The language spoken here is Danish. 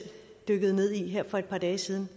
dykkede ned i her for et par dage siden